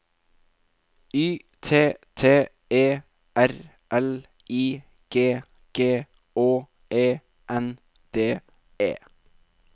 Y T T E R L I G G Å E N D E